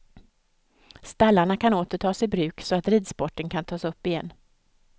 Stallarna kan åter tas i bruk så att ridsporten kan tas upp igen.